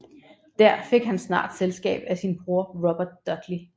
Der fik han snart selskab af sin bror Robert Dudley